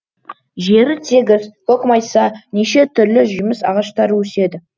жері тегіс көкмайса неше түрлі жеміс ағаштары өседі